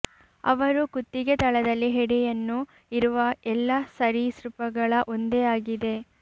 ಅವರು ಕುತ್ತಿಗೆ ತಳದಲ್ಲಿ ಹೆಡೆಯನ್ನು ಇರುವ ಎಲ್ಲ ಸರೀಸೃಪಗಳ ಒಂದೇ ಆಗಿದೆ